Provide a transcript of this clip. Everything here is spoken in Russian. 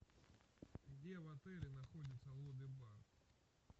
где в отеле находится лобби бар